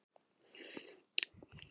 Hvernig virkar klónun?